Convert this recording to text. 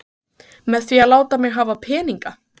Með því að láta mig hafa peninga?